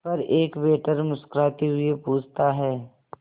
पर एक वेटर मुस्कुराते हुए पूछता है